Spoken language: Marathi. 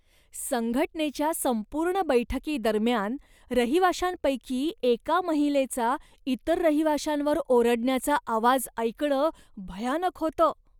संघटनेच्या संपूर्ण बैठकीदरम्यान रहिवाशांपैकी एका महिलेचा इतर रहिवाशांवर ओरडण्याचा आवाज ऐकणं भयानक होतं.